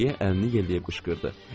deyə Deqriyə əlini yelləyib qışqırdı.